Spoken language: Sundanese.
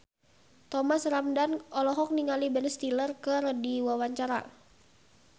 Thomas Ramdhan olohok ningali Ben Stiller keur diwawancara